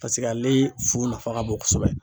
Paseke ale fu nafa ka bon kosɛbɛ.